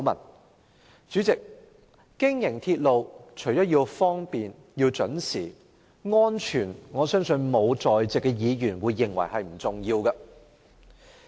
代理主席，經營鐵路除了要方便、準時外，也必須確保安全——我相信在席沒有議員會認為安全不重要。